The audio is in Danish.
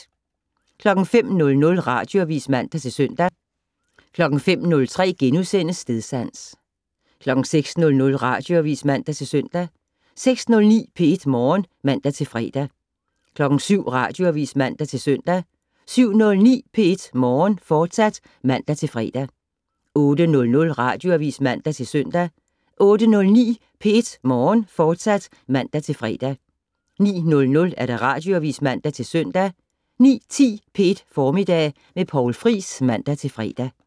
05:00: Radioavis (man-søn) 05:03: Stedsans * 06:00: Radioavis (man-søn) 06:09: P1 Morgen (man-fre) 07:00: Radioavis (man-søn) 07:09: P1 Morgen, fortsat (man-fre) 08:00: Radioavis (man-søn) 08:09: P1 Morgen, fortsat (man-fre) 09:00: Radioavis (man-søn) 09:10: P1 Formiddag med Poul Friis (man-fre)